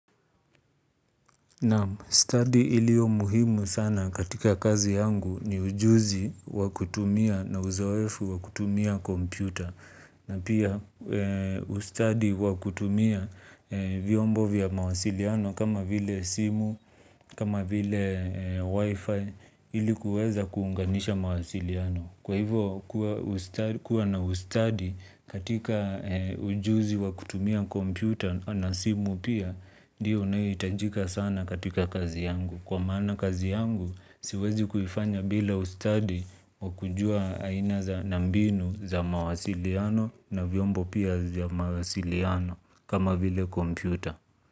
Naam study ilio muhimu sana katika kazi yangu ni ujuzi wa kutumia na uzoefu wa kutumia kompyuta na pia ustadi wa kutumia viombo vya mawasiliano kama vile simu kama vile wifi ilikuweza kuunganisha mawasiliano. Kwa hivo kuwa na ustadi katika ujuzi wa kutumia kompyuta na simu pia, ndiyo inayoitajika sana katika kazi yangu. Kwa maana kazi yangu, siwezi kuifanya bila ustadi wa kujua aina za na mbinu za mawasiliano na vyombo pia za mawasiliano kama vile kompyuta.